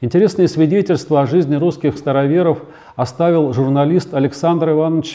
интересные свидетельство о жизни русских староверов оставил журналист александр иванович